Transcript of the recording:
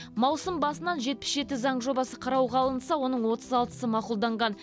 маусым басынан жетпіс жеті заң жобасы қарауға алынса оның отыз алтысы мақұлданған